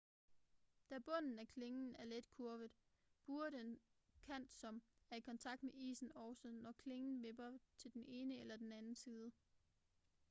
da bunden af klingen er let kurvet buer den kant som er i kontakt med isen også når klingen vipper til den ene eller den anden side